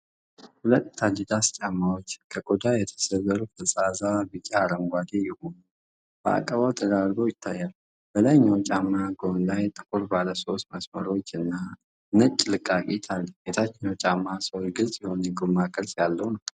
ሁለት አዲዳስ ጫማዎች፣ ከቆዳ የተሰሩ ፈዛዛ ቢጫ-አረንጓዴ የሆኑ፣ በአቀባዊ ተደራርበው ይታያሉ። በላይኛው ጫማ ጎን ላይ ጥቁር ባለሶስት መስመሮች እና ነጭ ልቃቂት አለ። የታችኛው ጫማ ሶል ግልጽ የሆነ የጎማ ቅርጽ ያለው ነው።